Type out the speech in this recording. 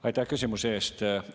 Aitäh küsimuse eest!